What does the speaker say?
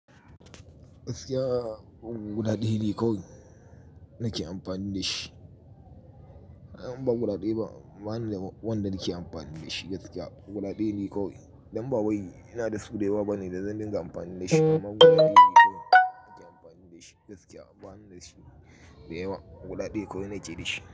Gaskiya, guda ɗaya ne kawai nake amfani da shi. Ba guda ɗaya ba, bani da wanda nake amfani da shi gaskiya. Guda ɗaya ne kawai. Dan ba wai ina da su da yawa bane da zan dinga amfani dashi. Amma guda ɗaya ne kawai akeyi amfani da shi gaskiya. Ba ni da shi da yawa. Guda ɗaya kawai nake da shi.